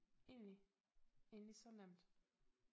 Egentlig egentlig så nemt